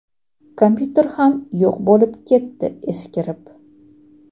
Kompyuter ham yo‘q bo‘lib ketdi eskirib.